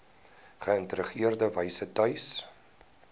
geïntegreerde wyse tuis